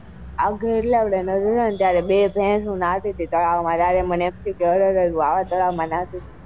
આવતી હતી ત્યારે બે ભેશો નાતી હતી તળાવ માં ત્યારે મને એમ થયું ક અરર હું અવ તળાવ માં નાતી હતી.